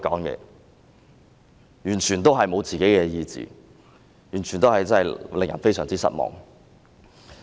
這種完全沒有個人意志的表現，實在令人非常失望。